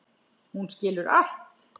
Hún skilur allt.